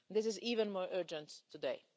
This is even more urgent today.